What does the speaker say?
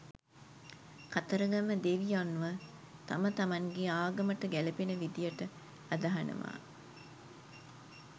කතරගම දෙවියොන්ව තම තමන්ගේ ආගමට ගැලපෙන විධියට අදහනවා